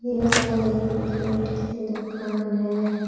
यह एक गिफ्ट की दुकान है।